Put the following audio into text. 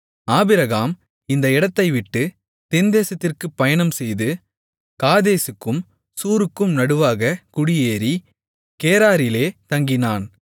Abraham அந்த இடத்தைவிட்டு தென்தேசத்திற்குப் பயணம் செய்து காதேசுக்கும் சூருக்கும் நடுவாகக் குடியேறி கேராரிலே தங்கினான்